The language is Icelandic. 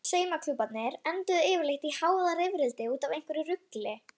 Saumaklúbbarnir enduðu yfirleitt í hávaðarifrildi út af einhverju rugli.